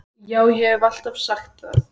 Já, ég haf alltaf sagt það.